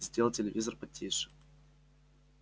сделал телевизор потише